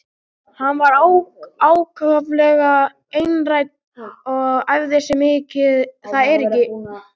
Hann var ákaflega einrænn og æfði sig mikið á fiðluna.